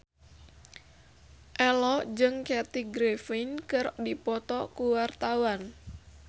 Ello jeung Kathy Griffin keur dipoto ku wartawan